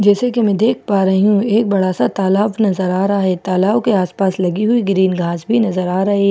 जैसे कि मैं देख पा रही हूं एक बड़ा सा तालाब नजर आ रहा है तालाब के आस पास लगी हुई ग्रीन घास भी नजर आ रही--